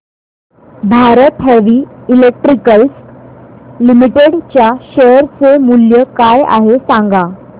Bharat heavy electricals limited च्या share चे मूल्य काय आहे सांगा